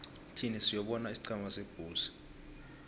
thin siyobona isiqhema sebulls